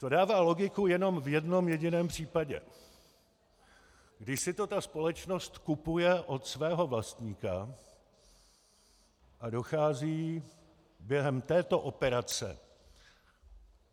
To dává logiku jenom v jednom jediném případě, kdy si to ta společnost kupuje od svého vlastníka a dochází během této operace...